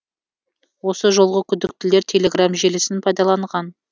осы жолғы күдіктілер телеграмм желісін пайдаланған